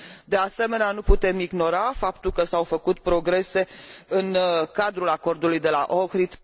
De asemenea, nu putem ignora faptul că s au făcut progrese în cadrul acordului de la Ohrid